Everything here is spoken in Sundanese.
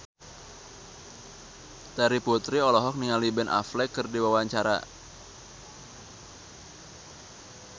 Terry Putri olohok ningali Ben Affleck keur diwawancara